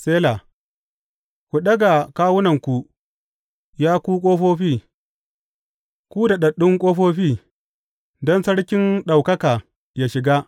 Sela Ku ɗaga kawunanku, ya ku ƙofofi; ku ɗagu, ku daɗaɗɗun ƙofofi, don Sarkin ɗaukaka yă shiga.